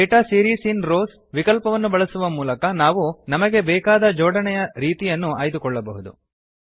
data series in rows ವಿಕಲ್ಪವನ್ನು ಬಳಸುವ ಮೂಲಕ ನಾವು ನಮಗೆ ಬೆಕಾದ ಜೋಡಣೆಯ ರೀತಿಯನ್ನು ಆಯ್ದುಕೊಳ್ಳಬಹುದು